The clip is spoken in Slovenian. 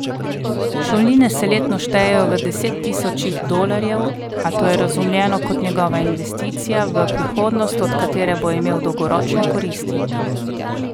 Šolnine se letno štejejo v desettisočih dolarjev, a to je razumljeno kot njegova investicija v prihodnost, od katere bo imel dolgoročne koristi.